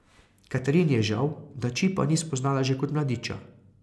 Katarini je žal, da Čipa ni spoznala že kot mladiča.